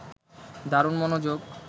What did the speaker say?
দারুণ মনোযোগ